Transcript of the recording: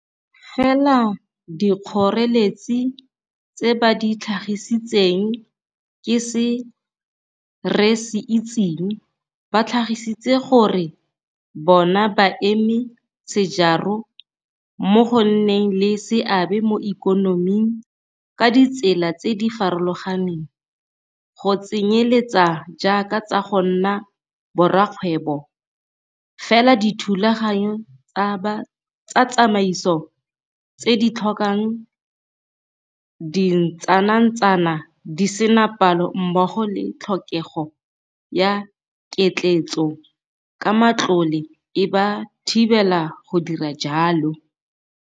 Fela dikgoreletsi tse ba di tlhagisitseng ke se re se itseng, ba tlhagisitse gore bona baeme sejaro mo go nneng le seabe mo ikonoming ka ditsela tse di farologaneng, go tsenyeletsa jaaka tsa go nna borakgwebo, fela dithulaganyo tsa tsamaiso tse di tlhokang dintsanantsana di sena palo mmogo le tlhokego ya ketleetso ka matlole e ba thibela go dira jalo.